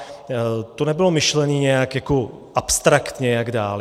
To nebylo myšlené nějak abstraktně jak dál.